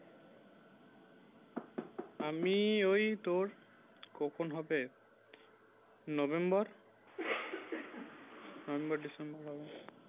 আমি ওই তোর কখন হবে november বা december হবে